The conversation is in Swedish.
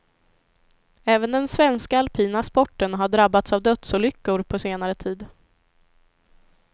Även den svenska alpina sporten har drabbats av dödsolyckor på senare tid.